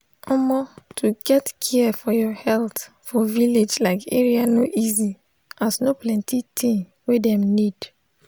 omo to get care for your health for village like area no easy as no plenti thing wey dem need.